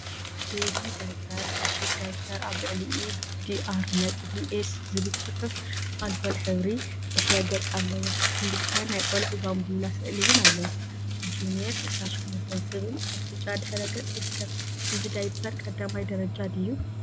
ቤቢ ዳይፐር ዕሽግ ዳይፐር አብ ልዕሊኡ ዲአር ነጥቢ ኤስ ዝብል ፅሑፍ አልኮል ሕብሪ ድሕረ ገፅ አለዎ፡፡ ክልተ ናይ ቆልዑ ባምቡላ ስእሊ እውን አለው፡፡ ”ጁኔር 28” ዝብል አብ ብጫ ድሕረ ገፅ ይርከብ፡፡ እዚ ዳይፐር 1ይ ደረጃ ድዩ?